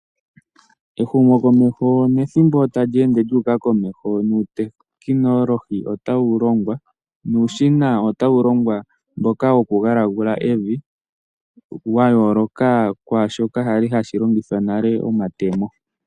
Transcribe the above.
Ehumokomeho nethimbo tali ende lyu uka komeho nuutekinolohi otawu longwa. Uushina otawu longwa, mboka woku galagula evi, wayooloka kwaashoka kwali hashi longithwa nale ngaashi, omatemo.